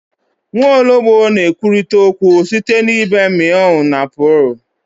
Nwaọlọgbọ na-ekwurịta okwu site na ịbe meow na purr